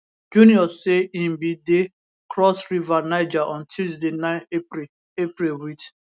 junior say im bin dey cross river niger on tuesday 9 april april wit